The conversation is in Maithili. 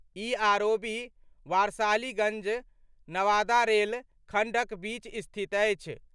ई आरओबी वारसालीगंज-नवादा रेल खंडक बीच स्थित अछि।